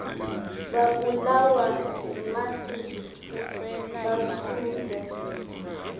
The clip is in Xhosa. babulawa yimasisi basutywe